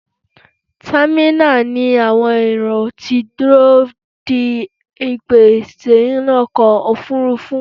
Támínà ni àwọn èrò ti dúró de ìpè sínú ọkọ̀ òfurufú.